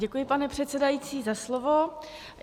Děkuji, pane předsedající, za slovo.